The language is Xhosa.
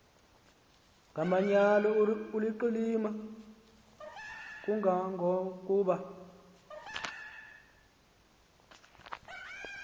ngomanyano oluqilima kangangokuba